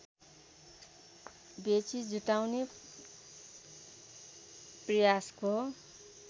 बेचि जुटाउने प्रयासको